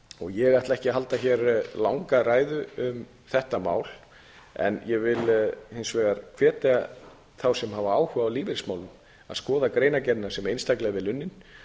ég ætla ekki að halda hér langa ræðu um þetta mál en vil hins vegar hvetja þá sem hafa áhuga á lífeyrismálum til að skoða greinargerðina sem er einstaklega vel unnin